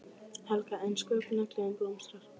Helga: En sköpunargleðin blómstrar?